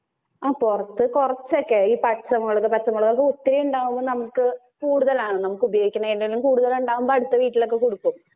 ആഹ് പൊറത്ത് കൊറച്ചോക്കെ ഈ പച്ചമുളക്, പച്ചമുളക് ഒത്തിരി ഇണ്ടാകുമ്പോ നമുക്ക് കൂടുതലാണ് നമുക്ക് ഉപയോഗിക്കുന്നതിലും കൂടുതലാണ് ഇണ്ടാകുമ്പോ അടുത്ത വീട്ടിലൊക്കെ കൊടുക്കും.